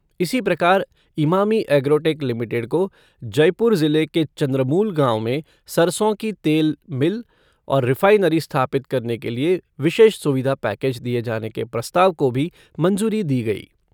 इसी प्रकार Emami Agrotech limited को जयपुर जिले के चंद्रमूल गाँव में सरसों की तेल मिल और रिफ़ाइनरी स्थापित करने के लिए विशेष सुविधा पैकेज दिए जाने के प्रस्ताव को भी मंजूरी दी गई।